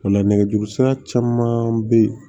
O la nɛgɛjuru sira caman be ye